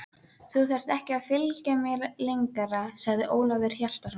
Þú þarft ekki að fylgja mér lengra, sagði Ólafur Hjaltason.